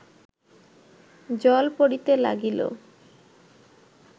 জল পড়িতে লাগিল